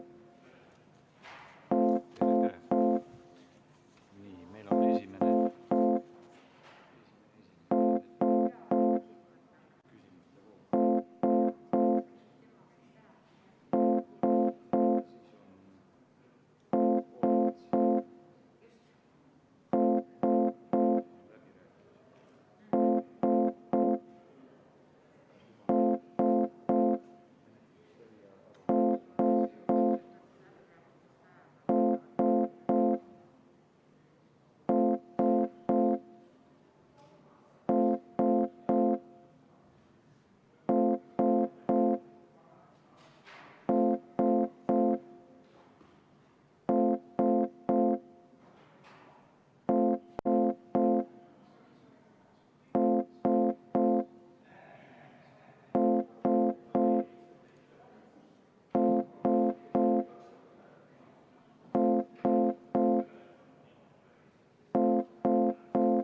V a h e a e g